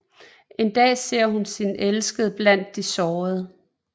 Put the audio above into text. En dag ser hun sin elskede blandt de sårede